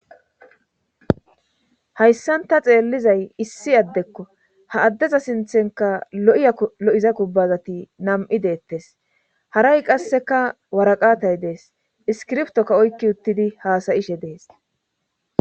hayssanta xeellizay issi addekko ha addeza sinthenka 7ya lo7iza kubbazati nam7i deettes haray qasseka waraqatay dees iskirftokka oykki uttidi haasayishe dees